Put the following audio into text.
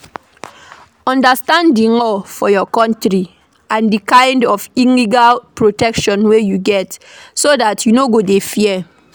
Understand di law for your country and di kind of legal protection wey you get so dat you no go dey fear